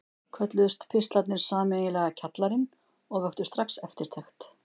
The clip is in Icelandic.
Kölluðust pistlarnir sameiginlega Kjallarinn og vöktu strax eftirtekt.